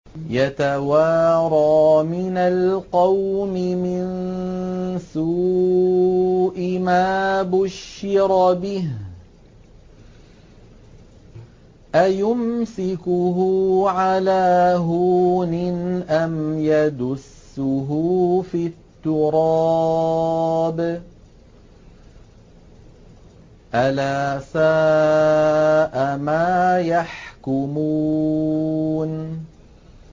يَتَوَارَىٰ مِنَ الْقَوْمِ مِن سُوءِ مَا بُشِّرَ بِهِ ۚ أَيُمْسِكُهُ عَلَىٰ هُونٍ أَمْ يَدُسُّهُ فِي التُّرَابِ ۗ أَلَا سَاءَ مَا يَحْكُمُونَ